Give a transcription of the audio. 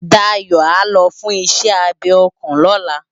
Dayo á lò fùn iṣè ábé òkán lòlá